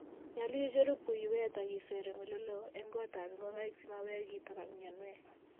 Nyolu icheru puiywet ak iseer eng oleloo eng gotab ngokaik sikomaweek kitok ak mianwek.